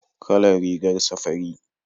Kalar rigarsa fari